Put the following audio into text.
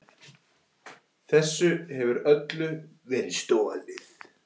Þessu hefur öllu verið stolið!